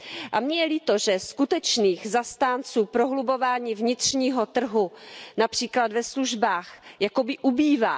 A mně je líto, že skutečných zastánců prohlubování vnitřního trhu, například ve službách, jakoby ubývá.